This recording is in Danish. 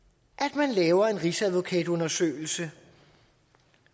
at man laver en rigsadvokatundersøgelse